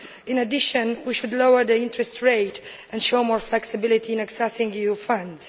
In addition, we should lower the interest rate and show more flexibility in accessing EU funds.